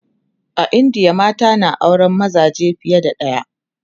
a indiya mata na auran mazaje fiye da ɗaya